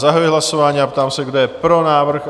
Zahajuji hlasování a ptám se, kdo je pro návrh?